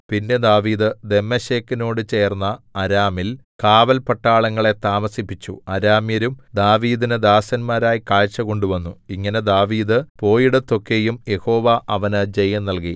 പിന്നെ ദാവീദ് ദമ്മേശെക്കിനോടു ചേർന്ന അരാമിൽ കാവല്പട്ടാളങ്ങളെ താമസിപ്പിച്ചു അരാമ്യരും ദാവീദിന് ദാസന്മാരായി കാഴ്ച കൊണ്ടുവന്നു ഇങ്ങനെ ദാവീദ് പോയിടത്തൊക്കെയും യഹോവ അവന് ജയം നല്കി